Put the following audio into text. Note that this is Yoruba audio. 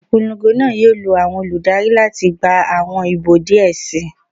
Ipolongo naa yoo lo awọn oludari lati gba awọn ibo diẹ sii